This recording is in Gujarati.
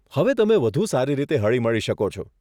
હવે તમે વધુ સારી રીતે હળીમળી શકો છો.